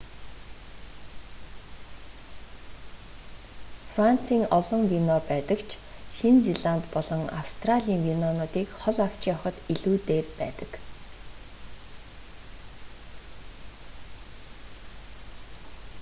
францын олон вино байдаг ч шинэ зеланд болон австралийн винонуудыг хол авч явахад илүү дээр байдаг